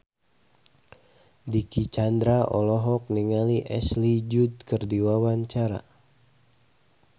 Dicky Chandra olohok ningali Ashley Judd keur diwawancara